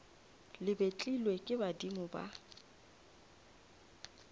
le betlilwe ke badimo ba